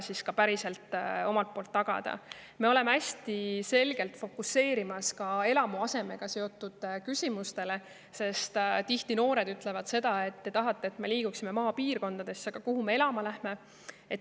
Me fokuseerime hästi selgelt ka eluasemega seotud küsimustele, sest tihti noored ütlevad, et te tahate, et me liiguksime maapiirkondadesse, aga kus me seal elama hakkame.